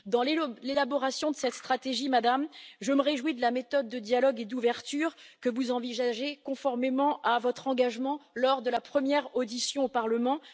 Dans l'élaboration de cette stratégie, Madame, je me réjouis de la méthode de dialogue et d'ouverture que vous envisagez, conformément à l'engagement pris lors de votre première audition au Parlement.